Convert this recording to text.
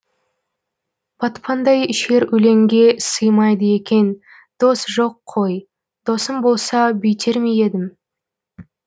батпандай шер өлеңге сыймайды екен дос жоқ қой досым болса бүйтер ме едім